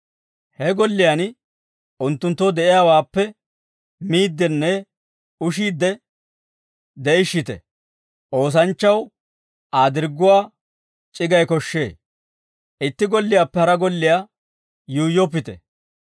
He golliyaan unttunttoo de'iyaawaappe miiddinne ushiidde de'ishshite; oosanchchaw Aa dirgguwaa c'iggay koshshee; itti golliyaappe hara golliyaa yuuyyoppite.